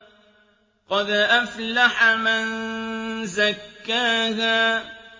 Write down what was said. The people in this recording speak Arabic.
قَدْ أَفْلَحَ مَن زَكَّاهَا